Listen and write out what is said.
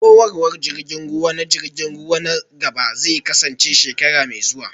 Horarwar jirgin ruwa na jirgin ruwa na gaba zai kasance shekara mai zuwa